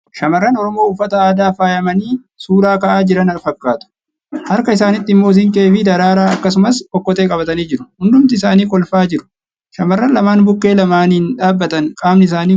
Shamarran Oromoo uffata aadaan faayamanii suuraa ka'aa jiran fakkaatu. Harka isaaniitti immoo siinqee fi daraaraa akkasumas okkotee qabatanii jiru. Hundumti isaanii kolfaa jiru. Shamarran lamaan bukkee lamaaniin dhaabbatan qaamni isaanii guutummaatti hin mul'atu.